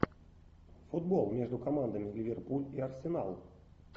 футбол между командами ливерпуль и арсенал